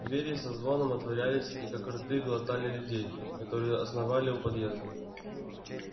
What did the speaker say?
двери со звоном отворялись и как рты глотали людей которые оновали у подъезда